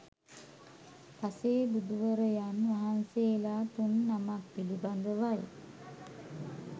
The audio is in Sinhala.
පසේ බුදුවරයන් වහන්සේලා තුන් නමක් පිළිබඳවයි